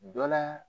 Dɔ la